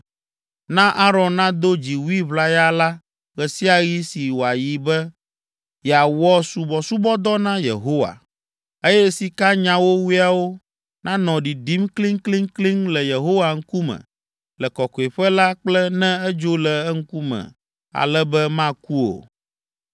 Na Aron nado dziwui ʋlaya la ɣe sia ɣi si wòayi be yeawɔ subɔsubɔdɔ na Yehowa, eye sikanyawowoeawo nanɔ ɖiɖim kliŋkliŋkliŋ le Yehowa ŋkume le Kɔkɔeƒe la kple ne edzo le eŋkume ale be maku o.